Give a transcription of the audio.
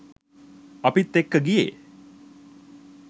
අපිත් එක්ක ගියේ